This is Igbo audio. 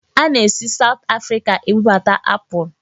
Ana-esi Sawụt Afrịka ebubata apụl.